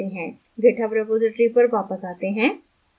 github repository पर वापस आते हैं